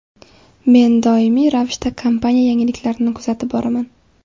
Men doimiy ravishda kompaniya yangiliklarini kuzatib boraman.